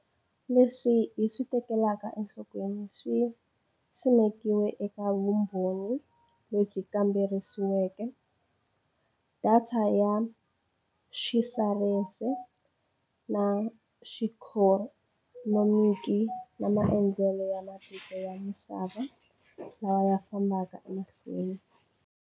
Leswi hi swi tekeleke enhlokweni swi simekiwe eka vumbhoni lebyi kambisisiweke, datha ya xisayense na xiikhonomiki na maendlelo ya matiko ya misava lawa ya fambaka emahlweni.